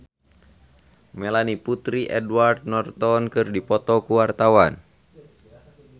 Melanie Putri jeung Edward Norton keur dipoto ku wartawan